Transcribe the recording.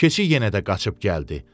Keçi yenə də qaçıb gəldi.